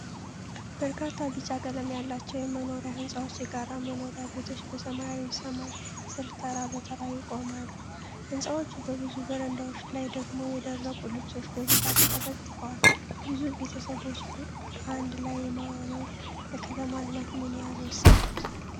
በርካታ ቢጫ ቀለም ያላቸው የመኖሪያ ሕንጻዎች፣ የጋራ መኖሪያ ቤቶች፣ በሰማያዊ ሰማይ ስር ተራ በተራ ይቆማሉ። ሕንፃዎቹ በብዙ በረንዳዎች ላይ ደግሞ የደረቁ ልብሶች በብዛት ተለጥፈዋል። ብዙ ቤተሰቦችን በአንድ ላይ ማኖር ለከተማ ልማት ምን ያህል ወሳኝ ነው?